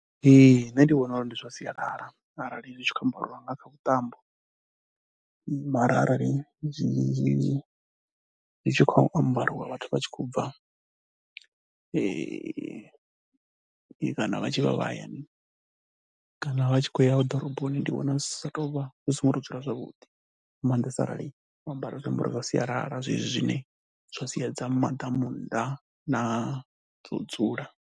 Ee, nṋe ndi vhona uri ndi zwa sialala arali zwi tshi khou ambariwa nga kha vhuṱambo mara arali zwi, zwi tshi khou ambariwa vhathu vha tshi khou bva kana vha tshi vha vha hayani kana vha tshi khou ya ḓoroboni ndi vhona zwi sa tou vha, hu songo tou dzula zwavhuḓi nga maandesa arali wo ambara zwiambaro zwa sialala zwezwi zwine zwa siedza maḓamu nnḓa na dzo dzula.